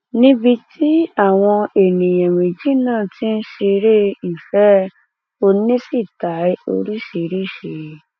níbi tí àwọn èèyàn méjì náà ti ń ṣeré ìfẹ oníṣítàì oríṣiríṣiì